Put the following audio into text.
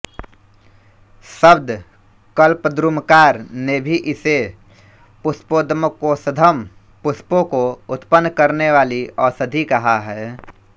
शब्द कल्पद्रुमकार ने भी इसे पुष्पोद्गमकोषधम् पुष्पों को उत्पन्न करनेवाली औषधि कहा है